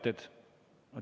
Teated.